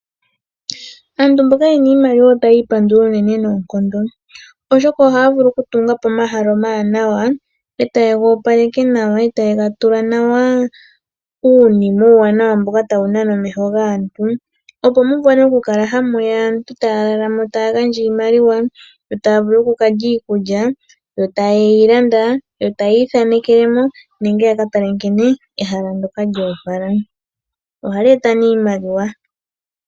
Aantu mboka ye na iimaliwa otaya ipandula noonkondo, oshoka ohaya vulu okutunga po omahala omawanawa, e taye ga opaleke nawa e taye ga tula nawa uunima uuwanawa mboka tawu nana omeho gaantu, opo mu vule okukala hamu ya aantu taya lala mo yo taya gandja iimaliwa, taya landa iikulya opo ya vule okulya, taya ithanekele mo nenge ya ka tale nkene ehala ndyoka lyo opala. Ohali eta nduno iimaliwa.